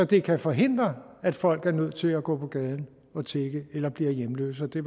det kan forhindre at folk er nødt til at gå på gaden og tigge eller bliver hjemløse og det